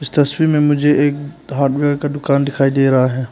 इस तस्वीर में मुझे एक हार्डवेयर का दुकान दिखाई दे रहा है।